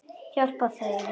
Hjálpa þeim.